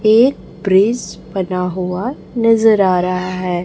एक प्रेस बना हुआ नजर आ रहा है।